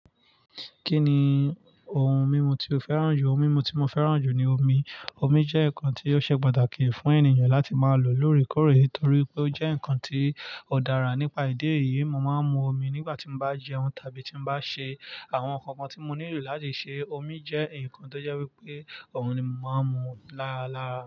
Kí ni ohun mímu tí o fẹ́ràn jù? Ohun mímu tí mo fẹ́ràn jù ni omi. Omi jẹ́ nǹkan tí ó ṣe pàtàkì fún ènìyàn láti máa lò lóreekọ́re, nítorí pé ó jẹ́ nǹkan tí ó dára. Nípa ìdí èyí, mo máa ń mu omi nígbà tí mo bá jẹun tàbí tí bá ṣe àwọn nǹkan kan tí mo nílò láti ṣe. Omi jẹ́ nǹkan tó jẹ́ wípé òun ni mo máa ń mu lára lára.